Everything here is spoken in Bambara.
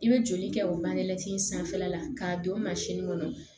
I bɛ joli kɛ o mansin in sanfɛla k'a don kɔnɔ